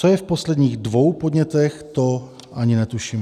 Co je v poslední dvou podnětech, to ani netuším.